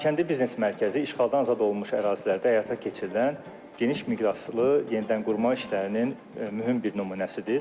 Xankəndi biznes mərkəzi işğaldan azad olunmuş ərazilərdə həyata keçirilən geniş miqyaslı yenidənqurma işlərinin mühüm bir nümunəsidir.